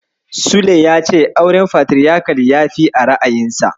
Sule ya ce auren Fatiriyakal yafi a ra'ayinsa.